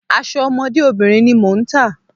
Aṣọ ọmọdé obìnrin ni mò ń tà.